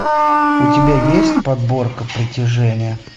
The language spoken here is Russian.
у тебя есть подборка притяжение